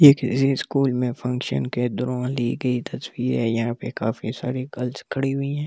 ये किसी स्कूल में फंक्शन के दौरान ली गई तस्वीर है यहां पे काफी सारी गर्ल्स खड़ी हुई हैं।